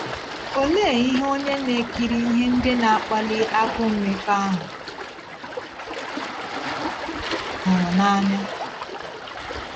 Olee ihe onye na - ekiri ihe ndị na - akpali agụụ mmekọahụ hụrụ n’anya?